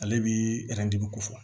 Ale bi ko fɔ